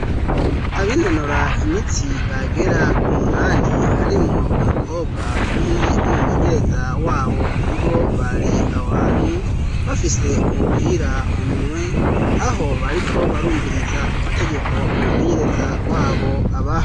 Abinonora imitsi bagera kumunani harimwo umukobwa umwe n'umumenyereza wabo ni bo bari aho hantu bafise umupira mu minwe, aho bariko barumviriza amategeko umumenyereza wabo abaha.